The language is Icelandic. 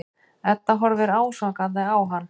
Edda horfir ásakandi á hann.